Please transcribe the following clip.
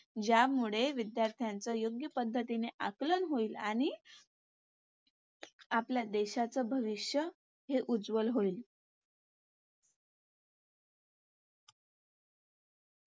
ज्यामुळे विद्यार्थ्यांचं योग्य पद्धतीने आकलन होईल आणि आपल्या देशाचं भविष्य हे उज्ज्वल होईल.